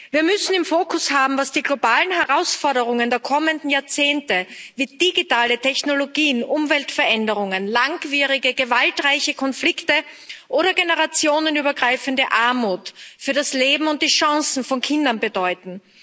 Wir müssen im Fokus haben, was die globalen Herausforderungen der kommenden Jahrzehnte wie digitale Technologien, Umweltveränderungen, langjährige gewaltreiche Konflikte oder generationenübergreifende Armut für das Leben und die Chancen von Kindern bedeuten.